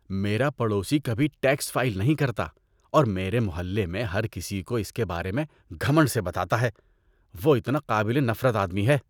میرا پڑوسی کبھی ٹیکس فائل نہیں کرتا اور میرے محلے میں ہر کسی کو اس کے بارے میں گھمنڈ سے بتاتا ہے۔ وہ اتنا قابل نفرت آدمی ہے۔